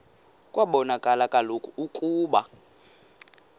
kwabonakala kaloku ukuba